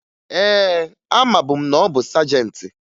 Ee, amabu m na ọ bụ sajentị